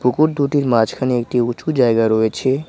পুকুর দুটির মাঝখানে একটি উঁচু জায়গা রয়েছে।